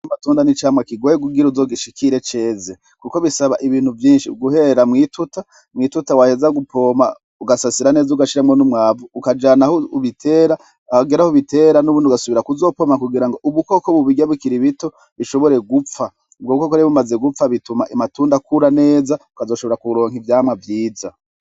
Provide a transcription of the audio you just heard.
Matunda n'icamwa kigoye gugira uzogishikire ceze, kuko bisaba ibintu vyinshi uguheera mw'ituta mw'ituta waheza gupoma ugasasira neza ugashiramwo n'umwavu ukajana aho ubitera ahagera aho ubitera n'ubundi ugasubira kuzopoma kugira ngo ubukoko bubirya bikiraibito bishobore gupfa ubwo buko korebe bumaze gupfa bituma imatunda akura neza ukazoshobora kuwa nk ivyamwa vyiza.